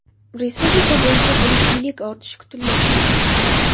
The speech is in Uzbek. Respublika bo‘yicha bulutlilik ortishi kutilmoqda.